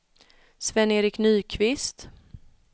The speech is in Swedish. Sven-Erik Nyqvist